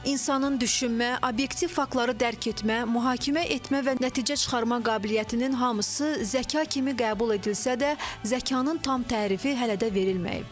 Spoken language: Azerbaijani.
İnsanın düşünmə, obyektiv faktları dərk etmə, mühakimə etmə və nəticə çıxarma qabiliyyətinin hamısı zəka kimi qəbul edilsə də, zəkanın tam tərifi hələ də verilməyib.